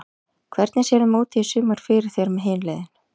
Hvernig sérðu mótið í sumar fyrir þér með hin liðin?